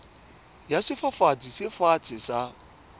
ya sefafatsi se fatshe sa